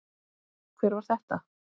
Hver var þetta?